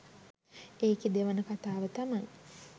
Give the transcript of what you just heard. ඒකෙ දෙවන කතාව තමයි